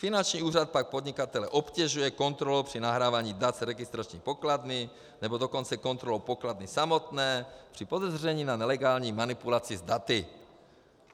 Finanční úřad pak podnikatele obtěžuje kontrolou při nahrávání dat z registrační pokladny, nebo dokonce kontrolou pokladny samotné při podezření na nelegální manipulaci s daty.